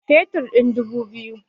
Fetur ɗin dubu biyu